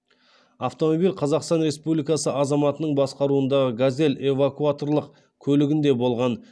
автомобиль қазақстан республикасы азаматының басқаруындағы газель эвакуаторлық көлігінде болған